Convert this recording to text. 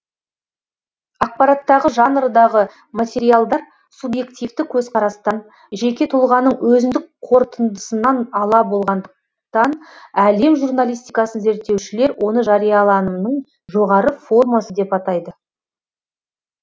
ақпараттағы жанрдағы материалдар субъективті көзқарастан жеке тұлғаның өзіндік қорытындысынан ала болғандықтан әлем журналистикасын зерттеушілер оны жарияланымның жоғары формасы деп атайды